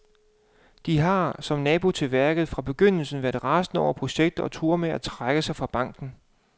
De har, som nabo til værket, fra begyndelsen været rasende over projektet og truer med at trække sig fra banken.